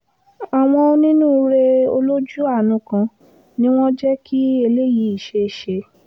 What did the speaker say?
àwọn onínúure olójú àánú kan ni wọ́n jẹ́ kí eléyìí ṣeé ṣe